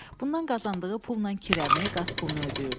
Bundan qazandığı pulla kirəni, qaz pulunu ödəyirdi.